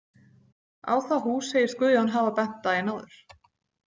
Á það hús segist Guðjón hafa bent daginn áður.